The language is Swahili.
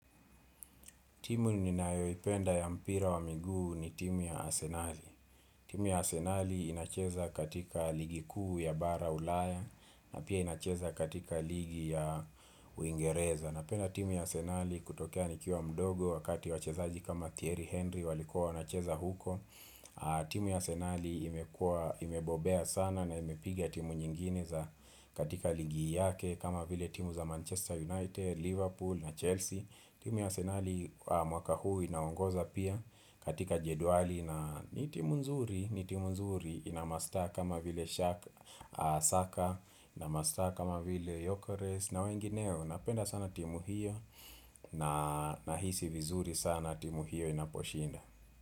Timu ninayoipenda ya mpira wa miguu ni timu ya Arsenali. Timu ya Arsenali inacheza katika ligi kuu ya bara ulaya na pia inacheza katika ligi ya Uingereza. Napenda timu ya Arsenali kutokea nikiwa mdogo wakati wachezaji kama Thierry Henry walikua wanacheza huko timu ya Asenali imebobea sana na imepiga timu nyingine za katika ligi yake kama vile timu za Manchester United, Liverpool na Chelsea. Timu ya Arsenali mwaka huu inaongoza pia katika jedwali na ni timu nzuri, ina mastaa kama vile Saka, ina mastaa kama vile Yokores na wengineo napenda sana timu hiyo na nahisi vizuri sana timu hiyo inaposhinda.